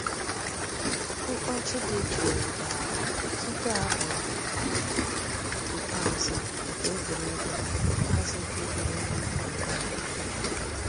Mkpọ̀chì dì jụụ̀ dàrā túpù àbụ̀ ikpeazụ̀ nke ègwè́régwụ̀ ikpeazụ̀ nke ègwè́régwụ̀ ị̀kọ̀ nkọ̀ òdídà.